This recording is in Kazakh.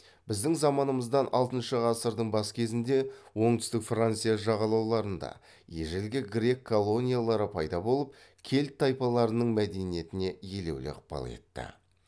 біздің заманымыздан алтыншы ғасырдың бас кезінде оңтүстік франция жағалауларында ежелгі грек колониялары пайда болып кельт тайпаларының мәдениетіне елеулі ықпал етті